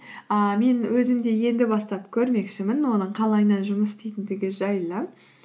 ыыы мен өзім де енді бастап көрмекшімін оның қалайынан жұмыс істейтіндігі жайлы